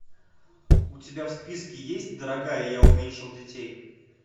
у тебя в списке есть дорогая я уменьшил детей